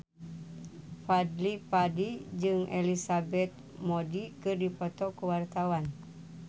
Fadly Padi jeung Elizabeth Moody keur dipoto ku wartawan